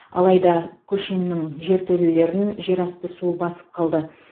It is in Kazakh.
алайда көшеннің жертөлелерін жерасты суы басып қалды